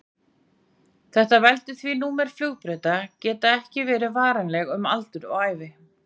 Þetta veldur því númer flugbrauta geta ekki verið varanleg um aldur og ævi.